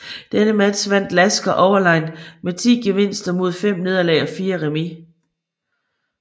Denne match vandt Lasker overlegent med 10 gevinster mod 5 nederlag og 4 remis